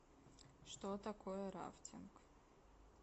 что такое рафтинг